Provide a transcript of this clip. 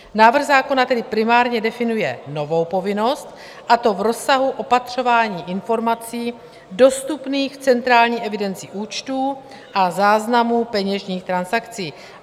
Návrh zákona tedy primárně definuje novou povinnost, a to v rozsahu opatřování informací dostupných v centrální evidenci účtů a záznamů peněžních transakcí.